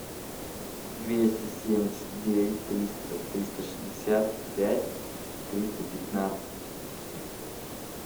двести семьдесят девять триста триста шестьдесят пять триста пятнадцать